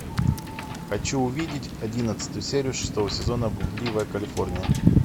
хочу увидеть одиннадцатую серию шестого сезона блудливая калифорния